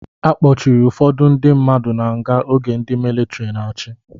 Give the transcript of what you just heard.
A kpọchiri ụfọdụ ndị mmadụ na nga oge ndị militri na-achị